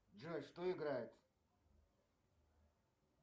джой что играет